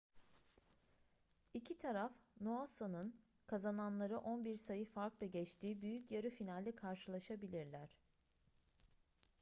i̇ki taraf noosa'nın kazananları 11 sayı farkla geçtiği büyük yarı finalde karşılaşabilirler